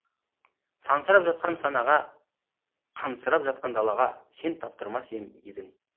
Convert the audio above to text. сансырап жатқан санаға қансырап жатқан далаға сен таптырмас ем едің